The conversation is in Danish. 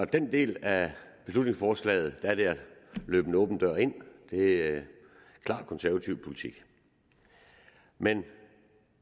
den del af beslutningsforslaget er det at løbe en åben dør ind det er klar konservativ politik men